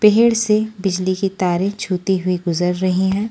पेहड़ से बिजली की तारें छूती हुई गुजर रही हैं।